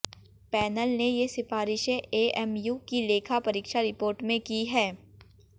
panel ने ये सिफारिशें एएमयू की लेखा परीक्षा रिपोर्ट में की हैं